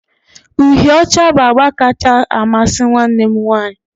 uhịe ọcha bụ agba kacha amasị nwanne m nwanyị